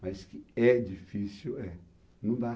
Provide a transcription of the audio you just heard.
Mas é difícil é, não dá.